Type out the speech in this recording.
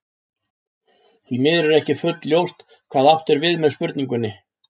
Því miður er ekki fullljóst hvað átt er við með spurningunni.